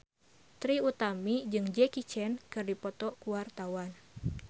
Trie Utami jeung Jackie Chan keur dipoto ku wartawan